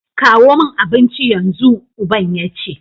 kawo min abinci yanzu! uban yace